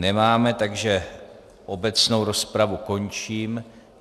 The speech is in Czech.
Nemáme, takže obecnou rozpravu končím.